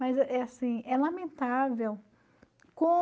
Mas assim, é lamentável